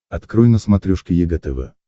открой на смотрешке егэ тв